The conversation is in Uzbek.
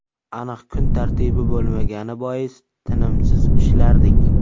Aniq kun tartibi bo‘lmagani bois tinimsiz ishlardik.